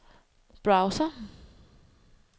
browser